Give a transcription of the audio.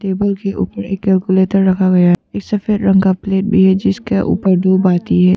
Table के ऊपर एक कैलकुलेटर रखा गया है एक सफेद रंग का प्लेट भी है जिसके ऊपर दो बाती है।